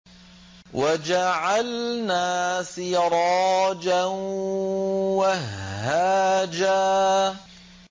وَجَعَلْنَا سِرَاجًا وَهَّاجًا